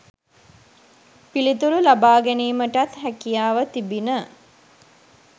පිළිතුරු ලබාගැනීමටත් හැකියාව තිබිණ